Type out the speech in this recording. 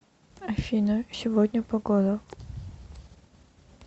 афина сегодня погода